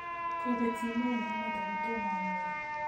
Kobet simennyu amut ako tom anyoru